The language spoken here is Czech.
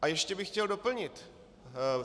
A ještě bych chtěl doplnit.